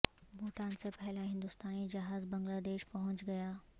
بھوٹان سے پہلا ہندوستانی جہاز بنگلہ دیش پہونچ گیا